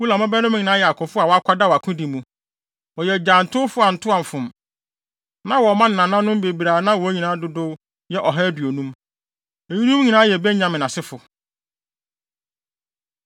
Ulam mmabarima nyinaa yɛ akofo a wɔakwadaw akodi mu, wɔyɛ agyantowfo antoamfom. Na wɔwɔ mma ne nananom bebree a na wɔn nyinaa dodow yɛ ɔha aduonum. Eyinom nyinaa yɛ Benyamin asefo.